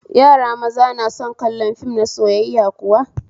Yara maza na son kallon fim na soyayya kuwa?